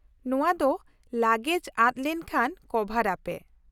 -ᱱᱚᱶᱟ ᱫᱚ ᱞᱟᱜᱮᱡ ᱟᱫ ᱞᱮᱱ ᱠᱷᱟᱱ ᱠᱚᱵᱷᱟᱨ ᱟᱯᱮ ᱾